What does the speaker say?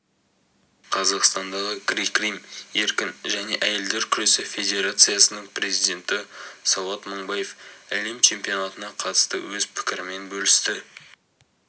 қазақстандағы грек-рим еркін және әйелдер күресі федерациясының президенті сауат мыңбаев әлем чемпионатына қатысты өз пікірімен бөлісті